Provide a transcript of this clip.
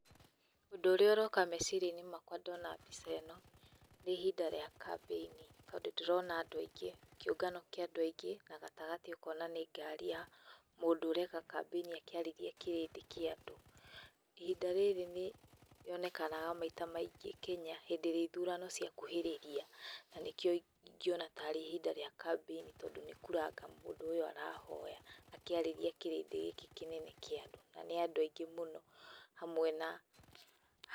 Ũndũ ũrĩa ũroka meciria-inĩ makwa ndona mbica ĩno, nĩ ihinda ria campaign tondũ ndĩrona andũ aingĩ, kĩũngano kĩa andũ aingĩ, na gatagatĩ ũkona nĩ ngari ya mũndũ ũreka campaign akĩarĩria kĩrĩndĩ kĩa andũ. Ihinda rĩrĩ nĩrĩonekanaga maita maingĩ Kenya, hĩndĩ ĩrĩa ithurano cia kuhĩrĩria na nĩkĩo ingiona tarĩ ihinda rĩa campaign tondũ nĩ kura anga mũndũ ũyũ arahoya, akĩarĩria kĩrĩndĩ gĩkĩ kĩnene kĩa andũ na nĩ andũ aingĩ mũno hamwe na...